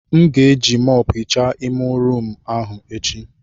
M ga-eji mọpu ehicha ime rumụ ahụ echi.